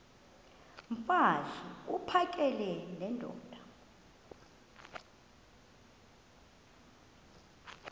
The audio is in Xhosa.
mfaz uphakele nendoda